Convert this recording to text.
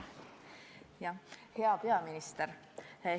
Hea peaminister!